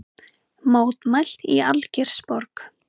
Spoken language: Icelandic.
Mótmælt í Algeirsborg